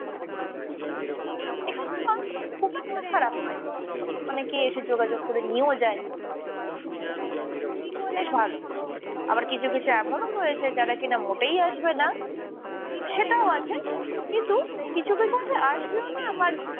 মানুষজন খুব একটা খারাপ নয়, অনেকেই এসে যোগাযোগ করে নিয়েও যায়। বেশ ভালো, আবার কিছু কিছু এমনও রয়েছে যারা কিনা মোটেই আসবে না, সেটাও আছে কিন্তু কিছু কিছু আছে আসবেও না আবার